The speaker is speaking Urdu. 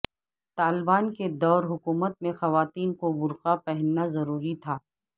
طالبان کے دور حکومت میں خواتین کو برقع پہننا ضروری تھا